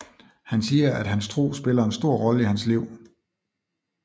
Han siger at hans tro spiller en stor rolle i hans liv